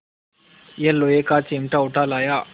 यह लोहे का चिमटा उठा लाया